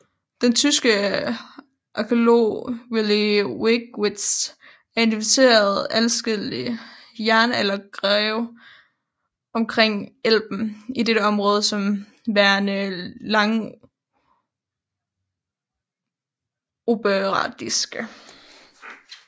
Den tyske arkæolog Willi Wegewitz har identificeret adskillige jernaldergrave omkring Elben i dette område som værende langobardiske